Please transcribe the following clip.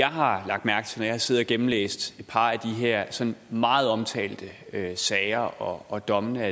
har lagt mærke til når jeg har siddet og gennemlæst et par af de her sådan meget omtalte sager og og dommene